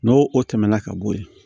N'o o tɛmɛna ka bɔ yen